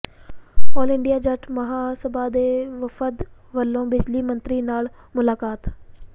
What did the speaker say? ਆਲ India Jat Maha Sabha ਦੇ ਵਫਦ ਵਲੋਂ ਬਿਜਲੀ ਮੰਤਰੀ ਨਾਲ ਮੁਲਾਕਾਤ